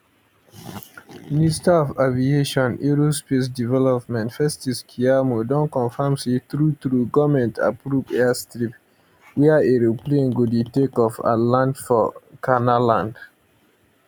minister of aviation and aerospace development festus keyamo don confam say truetrue goment approve airstrip wia aeroplane go dey takeoff and land for canaanland